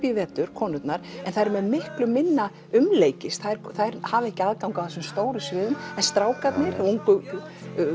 í vetur konurnar en þær eru með miklu minna umleikis þær hafa ekki aðgang að þessum stóru sviðum en strákarnir ungu